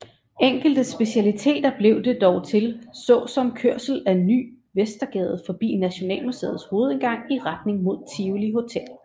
Enkelte specialiteter blev det dog til så som kørsel ad Ny Vestergade forbi Nationalmuseets hovedindgang i retning mod Tivoli Hotel